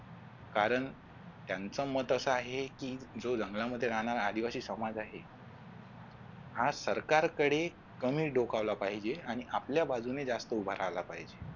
कारण त्यांचं मत अस आहे कि जो जंगलामध्ये राहणारा आदिवासी समाज आहे हा सरकारकडे कमी डोकावला पाहिजे आणि आपल्या बाजूने जास्त उभारायला पाहिजे.